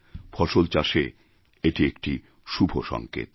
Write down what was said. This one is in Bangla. ফসল চাষে এটি একটি শুভ সংকেত